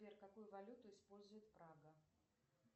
сбер какую валюту использует прага